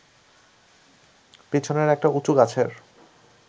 পিছনের একটা উঁচু গাছের